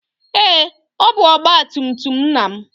Ee, ọ bụ ọgba tum tum nna m.